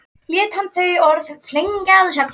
Lét hann þau orð fylgja, að sögn